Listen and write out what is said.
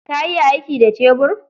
Ka iya aiki da cebur?